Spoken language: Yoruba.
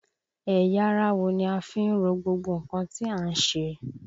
Ẹ̀yà ara wo ni a fi ń ro gbogbo nǹkan tí à ń ṣe?